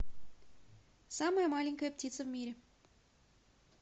самая маленькая птица в мире